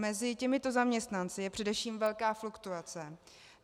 Mezi těmito zaměstnanci je především velká fluktuace.